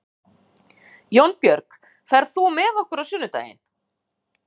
Jónbjörg, ferð þú með okkur á sunnudaginn?